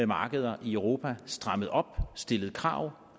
markeder i europa strammet op stillet krav